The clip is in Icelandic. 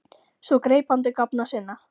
Svo greip hann til gáfna sinna.